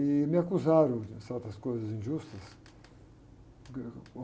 E me acusaram de certas coisas injustas.